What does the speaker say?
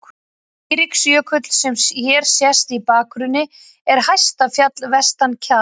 Eiríksjökull, sem hér sést í bakgrunni, er hæsta fjall vestan Kjalar.